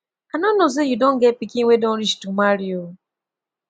i no know say you don get pikin wey don reach to marry oo